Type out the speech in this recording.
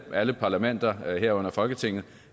så alle parlamenter herunder folketinget